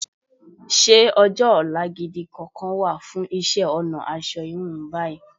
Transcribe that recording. Ṣé ọjọ́-ọ̀la gidi kankan wà fún isẹ́-ọ̀nà asọ híun báyìí?